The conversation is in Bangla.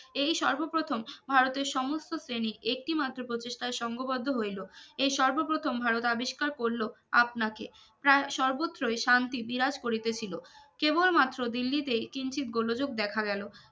এই সর্বপ্রথম ভারতের সমস্থ শ্রেণির একটি মাত্র প্রতিষ্ঠার সঙ্ঘবদ্ধ হইলো এর সর্বপ্রথম ভারত আবিষ্কার করল আপনাকে প্রায় সর্বত্রই শান্তি বিরাজ করিতে ছিলো কেবল মাত্র দিল্লিতে কিঞ্চিত গোলযোগ দেখা গেলো